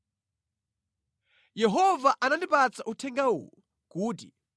Yehova anandipatsa uthenga uwu kuti,